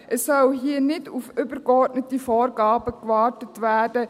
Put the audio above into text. Es soll hier nicht auf übergeordnete Vorgaben gewartet werden.